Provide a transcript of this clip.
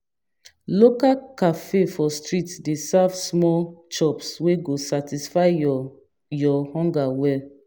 Local cafe for street dey serve small chops wey go satisfy your your hunger well.